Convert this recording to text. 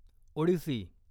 Odissi